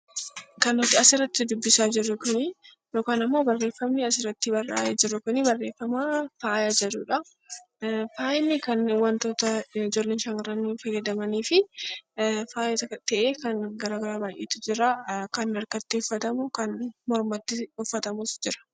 Kan nuti asirratti dubbisaa jirru kuni yookaan immoo barreeffamni asirratti barraa'ee jiru kuni barreeffama faaya jedhudha. Faayi wantoota ijoollonni shamarroonni itti fayyadamanii fi faaya ta'ee kan warroota baay'eetu jira kan harkatti uffatamu, kan mormatti uffatamus jira.